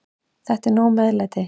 Þetta er nóg meðlæti.